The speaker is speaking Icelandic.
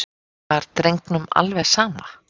Var drengnum alveg sama?